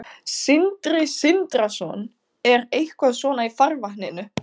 Sindri Sindrason: Er eitthvað svona í farvatninu?